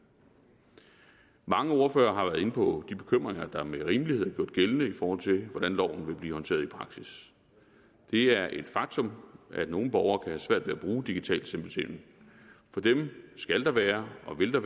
mange ordførere har været inde på de bekymringer der med rimelighed er gjort gældende i forhold til hvordan loven vil blive håndteret i praksis det er et faktum at nogle borgere kan have svært ved at bruge digital selvbetjening for dem skal der være og vil der